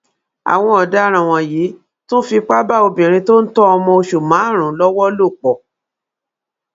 àwọn ọdaràn wọnyí tún fipá bá obìnrin tó ń tọ ọmọ osùn márùnún lọwọ lò pọ